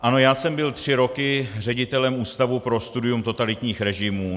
Ano, já jsem byl tři roky ředitelem Ústavu pro studium totalitních režimů.